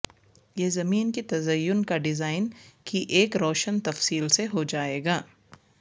یہ زمین کی تزئین کا ڈیزائن کی ایک روشن تفصیل سے ہو جائے گا